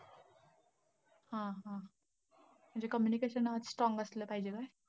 हं हं! म्हणजे communication strong असलं पाहिजे.